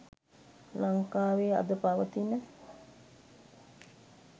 ලංකාවේ අද පවතින